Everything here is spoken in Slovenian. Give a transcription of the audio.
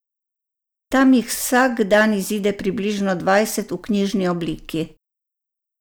Tam jih vsak dan izide približno dvajset v knjižni obliki.